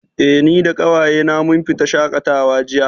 Eh, ni da ƙawaye na mun fita shaƙatawa jiya